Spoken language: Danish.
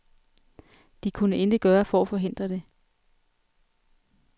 De kunne intet gøre for at forhindre det.